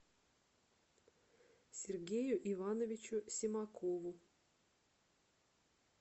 сергею ивановичу симакову